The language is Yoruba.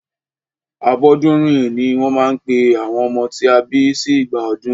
Abọ́dúnrìn ní wọ́n máa ń pe àwọn ọmọ tí a bí sí ìgbà ọdún.